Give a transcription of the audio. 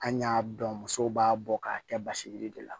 An y'a dɔn musow b'a bɔ k'a kɛ basiji de la